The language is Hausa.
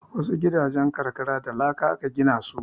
Wasu gidajen karkara da laka aka gina su